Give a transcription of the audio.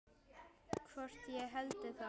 Hvort ég héldi það?